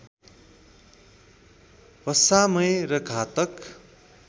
वसामय र घातक